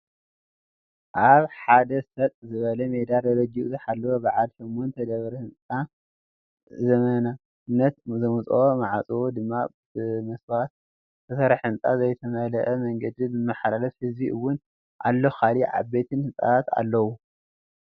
ኣብ ሓደ ሰጥ ዝበለ ሜዳ ደረጃኡ ዝሓለወ በዓል ሸሞንተ ደብሪ ህንፃ ዘመናውነቱ ዘምፀኦ ማዕፆኡ ድማ ብመስትዋት ዝተሰርሐ ህንፃን ዘይተመል አ መንገድን ዝመሓላልፍ ህዝቢ እውን ኣሎ ካሊ እ ዓበይቲ ሕንፃታት ኣለዉ::